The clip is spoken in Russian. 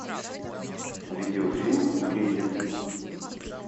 видеофильм кризис